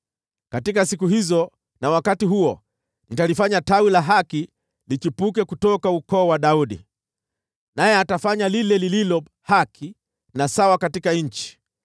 “ ‘Katika siku hizo na wakati huo nitalifanya Tawi la haki lichipuke kutoka ukoo wa Daudi, naye atafanya lile lililo haki na sawa katika nchi.